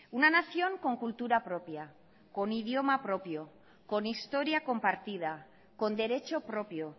una nación con cultura propia con idioma propio con historia compartida con derecho propio